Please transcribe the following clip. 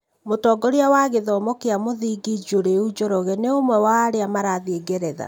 Mũtongoria wa gĩthomo kĩa mũthingi Njuriũ Njoroge nĩ ũmwe wa arĩa marathiĩ ngeretha.